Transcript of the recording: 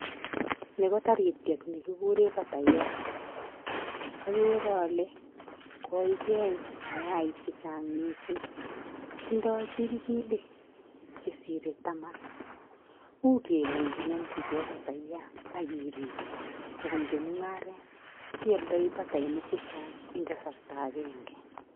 Ni ko tarityet nikigure patayat okere ole koikeeny mayaik chechang' mising. Tindoi chilchilik che sirei taman. Uu kele nginomjigei patayat ak iriib kobunji mung'aret, ialdaii patainik chechang' eng kasarta akenge.